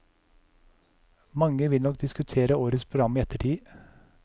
Mange vil nok diskutere årets program i ettertid.